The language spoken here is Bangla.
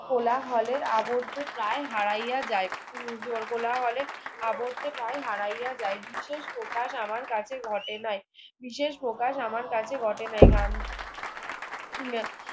কোলা হলের আবর্তে প্রায় হারাইয়া যায় উম জোর কোলাহলে আবর্তে প্রায় হারাইয়া যায় বিশেষ প্রকার আমার কাছে ঘটে নাই বিশেষ প্রকার আমার কাছে ঘটে নাই কারণ উম